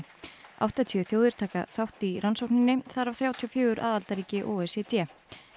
áttatíu þjóðir taka þátt í rannsókninni þar af þrjátíu og fjögur aðildarríki o e c d